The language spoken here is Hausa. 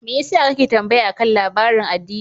Me yasa kake tambaya akan labarin addini?